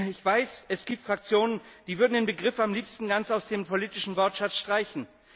Ich weiß, es gibt Fraktionen, die würden den Begriff am liebsten ganz aus dem politischen Wortschatz streichen.